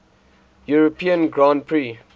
european grand prix